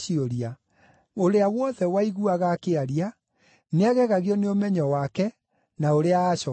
Ũrĩa wothe waiguaga akĩaria nĩagegagio nĩ ũmenyo wake na ũrĩa aacookagia.